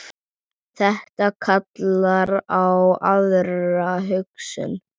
Þetta kallar á aðra hugsun.